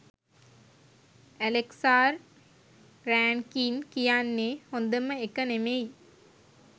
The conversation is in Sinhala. ඇලෙක්සාර් රෑන්කින් කියන්නෙ හොදම එක නෙමෙයි